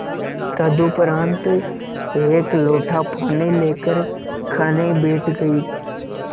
तदुपरांत एक लोटा पानी लेकर खाने बैठ गई